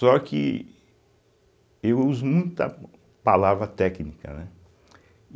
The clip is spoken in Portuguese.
Só que eu uso muita palavra técnica, né?